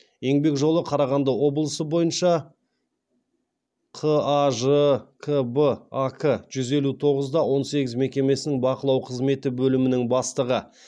еңбек жолы қарағанды облысы бойынша қажкб ак жүз елу тоғыз да он сегіз мекемесінің бақылау қызметі бөлімінің бастығы